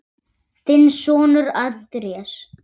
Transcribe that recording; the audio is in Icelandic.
Þinn sonur, Andrés.